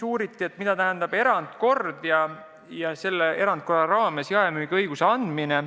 Uuriti, mida tähendab erandkord ehk erandkorras jaemüügiõiguse andmine.